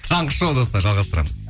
таңғы шоу достар жалғастырамыз